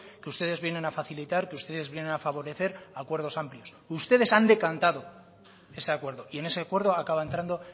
que ustedes vienen a facilitar que ustedes vienen a favorecer acuerdos amplios ustedes han decantado ese acuerdo y en ese acuerdo acaba entrando